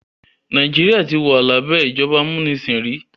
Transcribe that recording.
Nàìjíríà ti wà lábẹ́ ìjọba amúnisìn rí